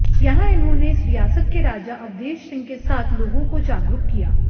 यहां इन्होंने इस रियासत के राजा अवधेश सिंह के साथ लोगों को जागरूक किया